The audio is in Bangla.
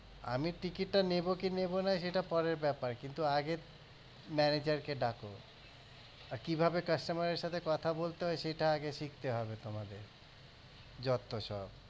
আমি ticket টা না নেবো কি নেবো না সেটা পরের ব্যাপার কিন্তু আগে manager কে ডাকো আর কীভাবে customer এর সাথে কথা বলতে হয় সেটা আগে শিখতে হবে তোমাকে যত্তসব